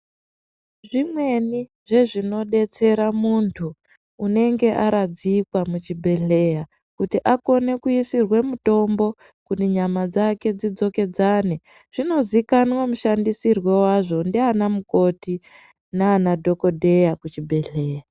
Zvimweni zvezvinodetsera muntu unenge aradzikwa muzvibhedhleya kuti akone kuisirwe mutombo kuti nyama dzake dzidzokedzane zvinozikanwa mushandisirwe wazvo nduana mukoti nana Dhokodheya kuchibhedhleya.